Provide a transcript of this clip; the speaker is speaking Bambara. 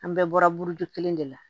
An bɛɛ bɔra buruju kelen de la